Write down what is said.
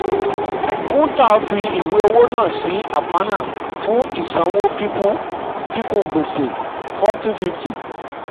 kuntal fi ìwé owó náà sí aparna fún ìsanwó kíkún gbèsè forty fifty